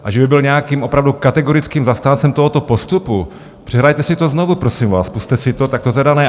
A že by byl nějakým opravdu kategorickým zastáncem tohoto postupu, přehrajte si to znovu, prosím vás, pusťte si to, tak to tedy ne.